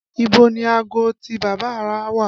Ibo ni aago tí bàbá rà wà?